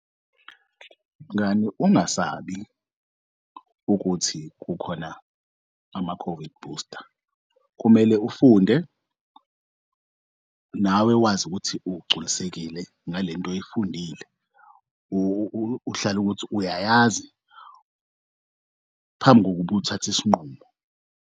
Mngani, ungasabi ukuthi kukhona ama-COVID booster. Kumele ufunde nawe wazi ukuthi ugculisekile ngalento oyifundile. Uhlale ukuthi uyayazi phambi kokub'uthathe isinqumo.